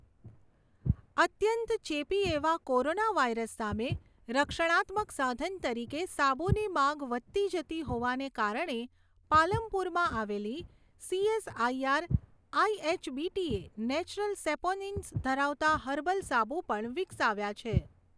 અત્યંત ચેપી એવા કોરોનાવાયરસ સામે રક્ષણાત્મક સાધન તરીકે સાબુની માગ વધતી જતી હોવાને કારણે પાલમપુરમાં આવેલી સીએસઆઈઆર આઈએચબીટીએ નેચરલ સેપોનિન્સ ધરાવતાં હર્બલ સાબુ પણ વિકસાવ્યાં છે.